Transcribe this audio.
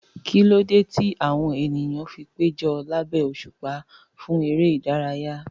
Kí ló dé tí àwọn ènìyàn fi péjọ lábẹ́ òṣùpá fún eré ìdárayá?